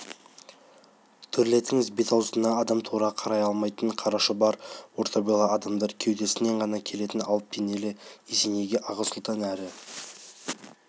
төрлетіңіз бет-аузына адам тура қарай алмайтын қара шұбар орта бойлы адамдар кеудесінен ғана келетін алып денелі есенейге аға сұлтан әрі